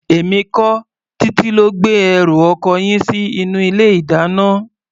Èmi kọ́, Títí ló gbé ẹrù ọkọ yín sí inú ilé-ìdáná.